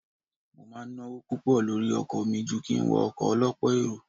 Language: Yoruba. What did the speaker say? Mo máa ń náwó púpọ̀ lórí ọkọ̀ mi ju kí n wọ ọkọ̀ ọ lọ́pọ̀ èrò.